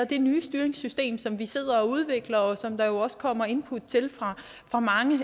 det nye styringssystem som vi sidder og udvikler og som der jo også kommer input til fra mange